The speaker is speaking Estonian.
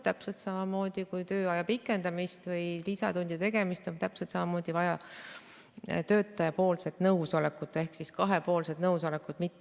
Täpselt samamoodi nagu tööaja pikendamisel või lisatundide tegemisel on vaja töötaja nõusolekut ehk kahepoolset nõusolekut.